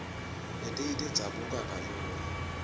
letinye tidzabuka kalula